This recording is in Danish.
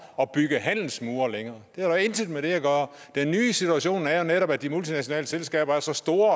at bygge handelsmure det har intet med det at gøre den nye situation er jo netop at de multinationale selskaber er så store